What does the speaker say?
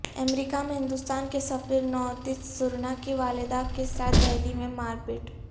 امریکہ میں ہندوستان کے سفیر نوتیج سرنا کی والدہ کے ساتھ دہلی میں مارپیٹ